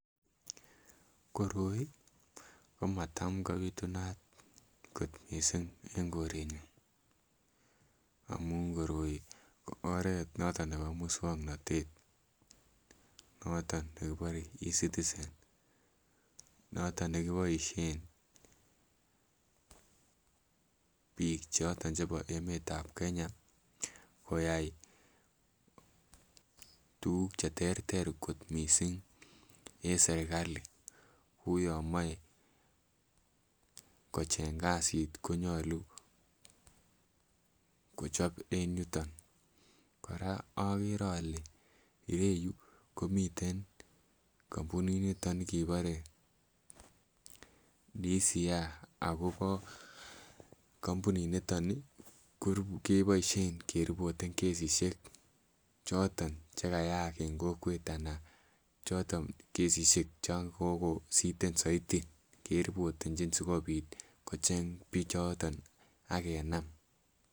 Koroi komatam kobitunat kot mising eng korenyun amun koroi ko oret noton nebo muswoknot, noton nebo E-citizen noton nekiboisyen bik choton chebo emetab Kenya koyai tukuk choton cheterter kot mising, eng srikalit kou yon mache kocheng kasit konyolu kochob eng yuton, koraa agere ale yetu komiten kampuniniton kebare DCI akobo kampuniniton keboisyen kerepoten kesisyek choton chekayaak eng kokwet anan kesisyek choton chekokositen zaiti keripotenchin, sikopit kocheng pichoton akenam.